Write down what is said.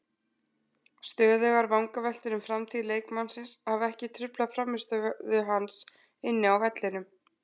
Stöðugar vangaveltur um framtíð leikmannsins hafa ekki truflað frammistöðu hans inni á vellinum.